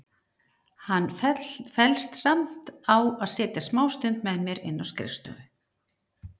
Hann fellst samt á að setjast smástund með mér inn á skrifstofu.